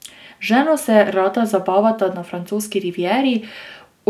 Z ženo se rada zabavata na francoski rivieri,